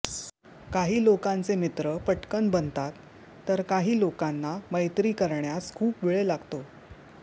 काही लोकांचे मित्र पटकन बनतात तर काही लोकांना मैत्री करण्यास खूप वेळ लागतो